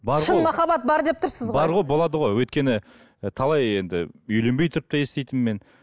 шын махаббат бар деп тұрсыз ғой бар ғой болады ғой өйткені і талай енді үйленбей тұрып та еститінмін мен